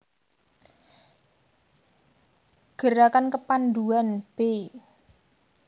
Gerakan Kepandhuan b